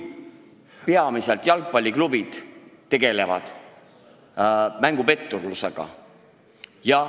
Peamiselt just jalgpalliklubid on need, kes tegelevad mängupetturlusega.